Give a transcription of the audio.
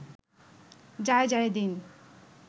Jaijaidin